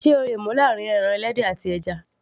sé o le mú láàrín pọ́ọ̀kì àti ẹja